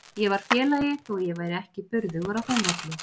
Ég var félagi þó að ég væri ekki burðugur á þeim velli.